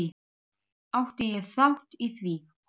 Átti ég þátt í því?